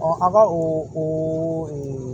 a b'a o o